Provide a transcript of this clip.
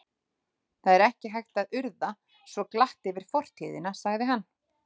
Það er ekki hægt að urða svo glatt yfir fortíðina sagði hann.